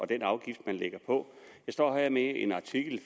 den afgift man lægger på jeg står her med en artikel